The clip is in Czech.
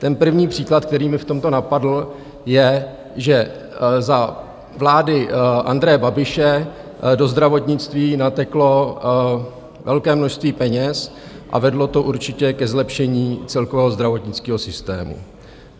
Ten první příklad, který mě v tomto napadl, je, že za vlády Andreje Babiše do zdravotnictví nateklo velké množství peněz a vedlo to určitě ke zlepšení celkového zdravotnického systému.